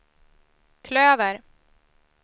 klöver